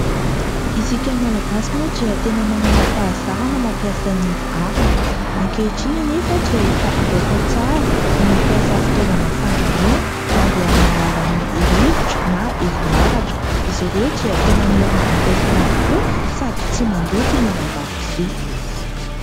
Isika malagasy moa dia tena manana fahazarana mampiasa ny arina. Ankehitriny anefa dia efa azo atao tsara ny fitaovana fandrahoana mandeha amin'ny alalan'ny rivotra na herinaratra. Izy ireo dia tena mora ampiasaina tokoa sady tsy mandoto ny ao an-dakozia.